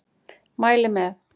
Mæli með!